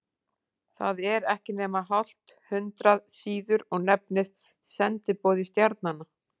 Það er ekki nema hálft hundrað síður og nefnist Sendiboði stjarnanna.